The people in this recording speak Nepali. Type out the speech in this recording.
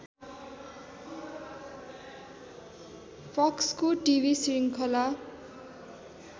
फक्सको टिभी श्रृङ्खला